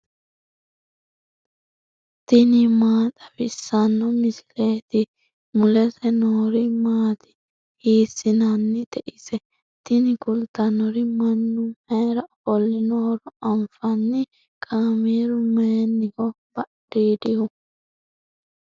tini maa xawissanno misileeti ? mulese noori maati ? hiissinannite ise ? tini kultannori mannu mayra ofollinohoro anfanni . kaameeru mayiniho badhiidihu ?